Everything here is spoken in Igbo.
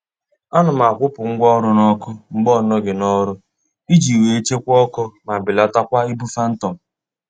A na m akwụpụ ngwa ọrụ n'ọkụ mgbe ọ nọghị n'ọrụ iji wee chekwaa ọkụ ma belatakwa ibu phantom